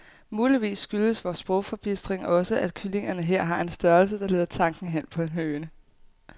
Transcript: Muligvis skyldes vor sprogforbistring også, at kyllingerne her har en størrelse, der leder tanken hen på en høne.